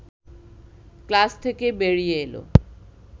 class থেকে বেরিয়ে এল